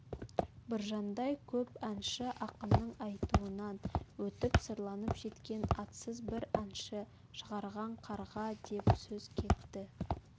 біржандай көп әнші ақынның айтуынан өтіп сырланып жеткен атсыз бір әнші шығарған қарға деп сөз кетті